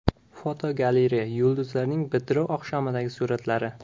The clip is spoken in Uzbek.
Fotogalereya: Yulduzlarning bitiruv oqshomidagi suratlari.